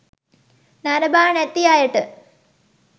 නරඹා නැති අයට